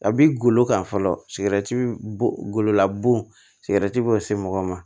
A bi golo kan fɔlɔ gololabun sigɛrɛti b'o se mɔgɔ ma